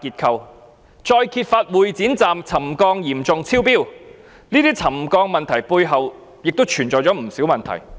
其後再揭發會展站沉降嚴重超標，這些沉降的問題背後亦存在不少問題。